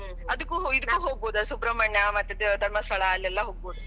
ಅದ್ಕೂ, ಇದ್ಕೂ ಹೋಗಬೌದ ಸುಬ್ರಮಣ್ಯ ಮತ್ ಧರ್ಮಸ್ಥಳ ಅಲ್ಲೇಲ್ಲ ಹೋಗ್ಬೋದ.